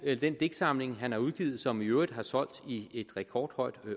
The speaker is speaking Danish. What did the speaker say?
den digtsamling han har udgivet som i øvrigt har solgt i et rekordhøjt